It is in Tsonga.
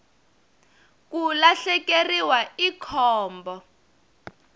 ku lahlekeriwa i khombo